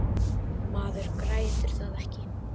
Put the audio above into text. Maður grætur það ekki.